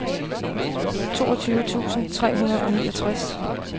toogtyve tusind tre hundrede og niogtres